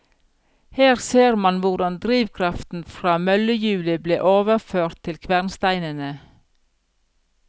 Her ser man hvordan drivkraften fra møllehjulet ble overført til kvernsteinene.